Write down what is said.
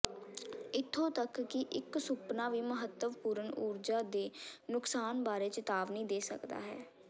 ਇੱਥੋਂ ਤੱਕ ਕਿ ਇਕ ਸੁਪਨਾ ਵੀ ਮਹੱਤਵਪੂਰਣ ਊਰਜਾ ਦੇ ਨੁਕਸਾਨ ਬਾਰੇ ਚੇਤਾਵਨੀ ਦੇ ਸਕਦਾ ਹੈ